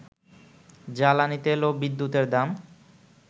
জ্বালানি তেল ও বিদ্যুতের দাম